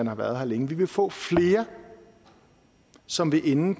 har været her længe vi vil få flere som vil ende